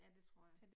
Ja, det tror jeg